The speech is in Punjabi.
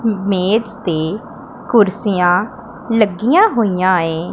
ਮੇਜ ਤੇ ਕੁਰਸੀਆਂ ਲੱਗੀਆਂ ਹੋਈਆਂ ਏਂ।